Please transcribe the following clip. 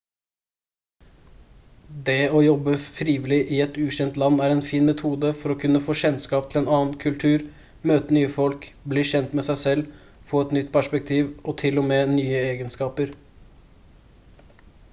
det å leve og jobbe frivillig i et ukjent land er en fin metode for å kunne få kjennskap til en annen kultur møte nye folk bli kjent med seg selv få et nytt perspektiv og til og med nye egenskaper